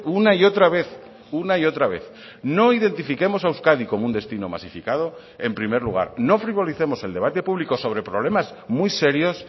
una y otra vez una y otra vez no identifiquemos a euskadi como un destino masificado en primer lugar no frivolicemos el debate público sobre problemas muy serios